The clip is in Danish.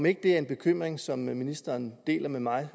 ikke en bekymring som ministeren deler med mig